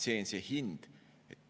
See on see hind.